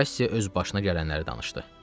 Kass öz başına gələnləri danışdı.